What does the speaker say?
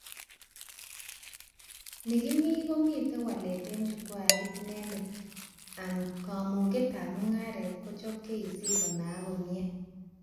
Ni kimii komitee walet eng chukwait inendet and kamugetab mugaret kochob KEC konayak komie